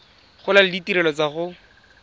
gola le ditirelo tsa go